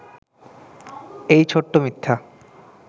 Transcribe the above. এই ছোট্ট মিথ্যা